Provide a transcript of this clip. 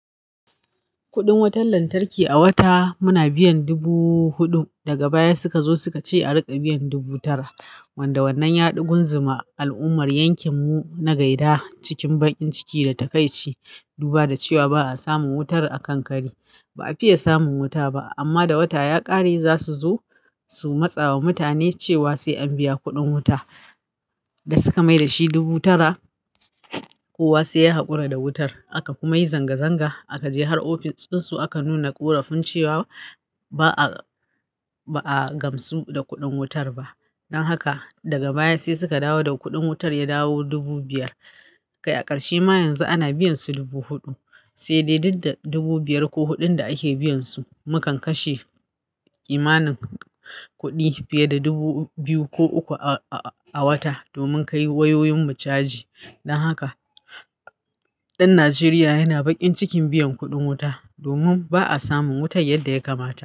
Kudin wutan lantarki a wata muna biyan dubu huɗu. Daga baya suka zo suka ce a riƙa biyan dubu tara. Wanda wannan yaɗi gunzuma al'ummar yankin mu na gaida cikin bakin ciki da takaici. Duba da cewa ba a samun wutar a kan kari. Ba a fiye samun wuta ba amma da wata ya ƙare zasu zo su matsa wa mutane cewa sai an biya kudin wuta da suka mai da shi dubu tara kowa ssi ya haƙura da wutar. Aka kuma yi zanga zanga aka je har ofis din su aka nuna ƙorafin cewa ba'a ba a gamsu da kudin wutar ba. Don haka daga baya sai suka dawo da kudin wutar ya dawo dubu biyar. Kai a ƙarshe ma yanzu ana biyan su dubu huɗu. Sai dai duk da dubu biyar ko huɗun da ake biyan su mukan kashe kimanin kuɗi fiye da dubu biyu ko uku a wata domin kai wayoyin mu caji. Don haka ɗan Najeriya yana baƙin cikin biyan kuɗin wuta domin ba a samun wutar yadda ya kamata.